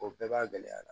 O bɛɛ b'a gɛlɛya la